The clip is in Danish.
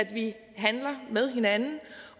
vi handler med hinanden